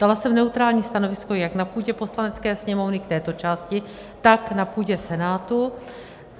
Dala jsem neutrální stanovisko jak na půdě Poslanecké sněmovny k této části, tak na půdě Senátu.